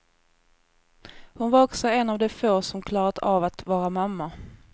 Hon var också en av de få som klarat av att vara mamma.